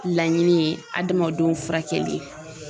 Laɲini ye adamadenw furakɛli ye.